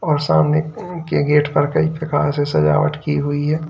और सामने अह के गेट पर कई प्रकार से सजावट की हुई है।